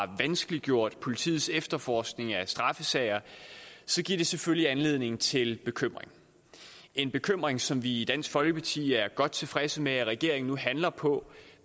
vanskeliggjort politiets efterforskning af straffesager giver det selvfølgelig anledning til bekymring en bekymring som vi i dansk folkeparti er godt tilfredse med at regeringen nu handler på